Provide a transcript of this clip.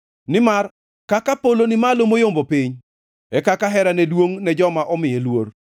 Nimar kaka polo ni malo moyombo piny, e kaka herane duongʼ ne joma omiye luor;